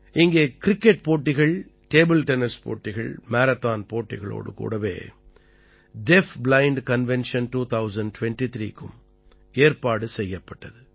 இங்கே கிரிக்கெட் போட்டிகள் table tennis போட்டிகள் மாரத்தான் போட்டிகளோடு கூடவே டீஃப் பிளைண்ட் கன்வென்ஷன் 2023 க்கும் ஏற்பாடு செய்யப்பட்டது